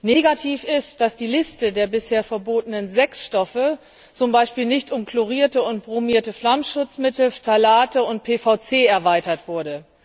Negativ ist, dass die Liste der bisher verbotenen sechs Stoffe zum Beispiel nicht um chlorierte und bromierte Flammschutzmittel, Phtalate und PVC erweitert wurde.